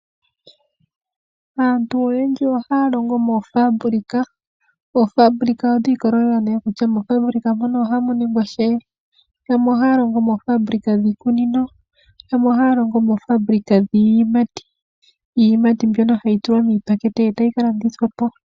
Aantu oyendji ohaya longo moofambilika. Oofambilika odhi ikolelela kutya oofambilika mono ohamu ningwa shike. Yamwe ohaya longo moofambilika dhiikunino, yamwe ohaya longo moofambilika dhiiyimati iiyimati mbyono hayi tulwa miipakete eeta yi kalandithwapo.